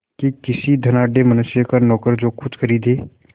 कि किसी धनाढ़य मनुष्य का नौकर जो कुछ खरीदे